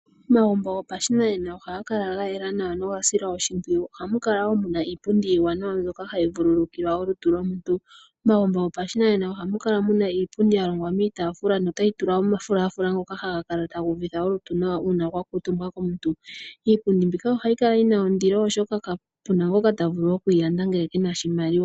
Omagumbo gopashinanena ohaga kala ga yela nawa noga sila oshimpwiyu, ohamu kala wo muna iipundi iiwanawa mbyoka hayi vululukilwa olutu lomuntu. Momagumbo gopashinanena ohamu kala muna iipundi ya longwa miitafula notayi tulwa omafulafula ngoka haga kala taga uvitha olutu nawa uuna kwa kuutumbwa komuntu. Iipundi mbika ohayi kala yi na ondilo oshoka kapuna ngoka ta vulu oku yi landa ngele kena oshimaliwa.